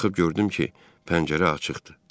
Baxıb gördüm ki, pəncərə açıqdı.